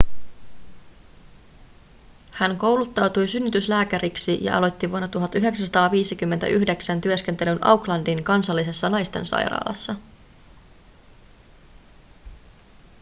hän kouluttautui synnytyslääkäriksi ja aloitti vuonna 1959 työskentelyn aucklandin kansallisessa naistensairaalassa